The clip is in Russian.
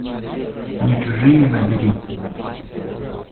не чужие набери